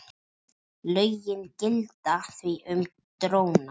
Lögin gilda því um dróna.